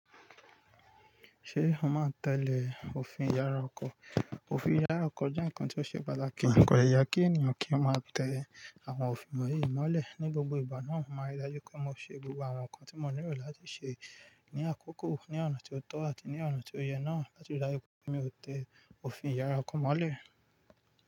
Ṣé o máa n tẹ̀lé òfin ìyára ọkọ̀? Òfin ìyára ọkọ̀ jẹ́ ǹkan tí ó ṣe balẹ̀. Ko dẹ́ yẹ kí ènìyàn kí ó máa tẹ àwọn òfin wọ̀nyí mọ́lẹ̀. Ni gbogbo ìgbà náà, màá n ri dájú pé mo ṣe gbogbo àwọn ǹkan tí mo nílò láti ṣe ní àkókò ní ọ̀nà tí ó tọ́ àti ní ọ̀nà tí ó yẹ náà láti ri dájú pé mi ò tẹ òfin ìyára ọkọ̀ mọ́lẹ̀.